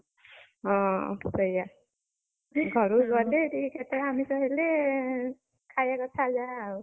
ହଁ, ସେଇଆ, ଘରକୁ ଗଲେ ଟିକେ କେତେବେଳେ ଆମିଷ ହେଲେ, ଖାଇଆ କଥା ଯାହା ଆଉ।